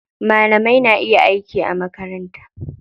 Malamai na iya aiki a makaranta.